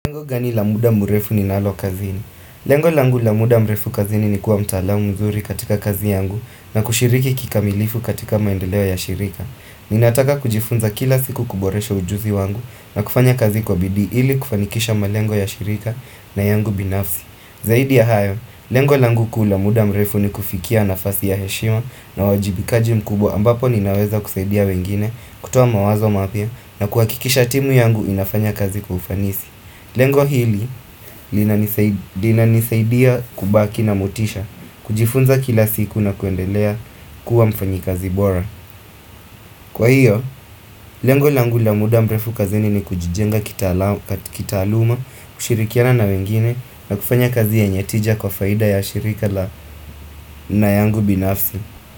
Lengo gani lamuda mrefu ninalo kazini? Lengo langu la muda mrefu kazini ni kuwa mtaalamu mzuri katika kazi yangu na kushiriki kikamilifu katika maendeleo ya shirika. Ninataka kujifunza kila siku kuboresha ujuzi wangu na kufanya kazi kwa bidii ili kufanikisha malengo ya shirika na yangu binafsi. Zaidi ya hayo, lengo langu kuu la muda mrefu ni kufikia nafasi ya heshima na wajibikaji mkubwa ambapo ninaweza kusaidia wengine, kutoa mawazo mapya na kuhakikisha timu yangu inafanya kazi kwa ufanisi. Lengo hili linanisaidia kubaki na motisha kujifunza kila siku na kuendelea kuwa mfanyi kazi bora. Kwa hiyo, lengo langu la muda mrrefu kazini ni kujijenga kitaaluma, kushirikiana na wengine na kufanya kazi yenye tija kwa faida ya shirika na yangu binafsi.